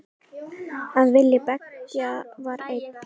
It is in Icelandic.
Að vilji beggja var einn.